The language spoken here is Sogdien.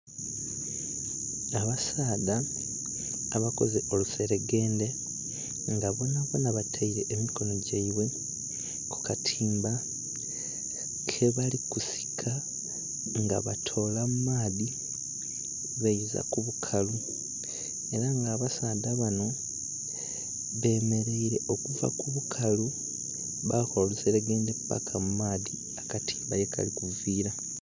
Abasaadha abakoze oluseregendhe nga bonha bonha bataire emikono gyeibwe kukatimba kebali kusika nga batola mumaadhi baiza kubukalu era nga abasaadha banho bemeraire okuva kubukalu bakola oluseregendhe paka mumaadhi akatimba yekali kuvira.